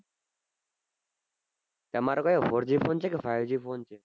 તમાર કયો four g phone છે કે five g phone છે